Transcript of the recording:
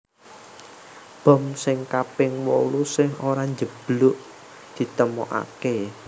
Bom sing kaping wolu sing ora njeblug ditemokaké